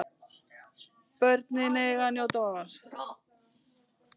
Börnin eiga að njóta vafans.